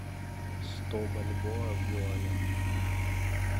сто бальбоа в юанях